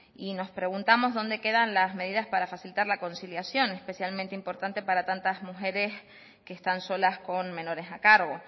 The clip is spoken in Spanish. y nos preguntamos dónde quedan las medidas para facilitar la conciliación especialmente importante para tantas mujeres que están solas con menores a cargo